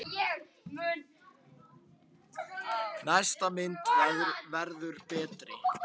Næsta mynd verður betri!